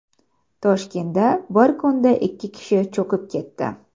Toshkentda bir kunda ikki kishi cho‘kib ketdi.